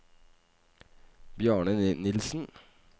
Bjarne Nilsen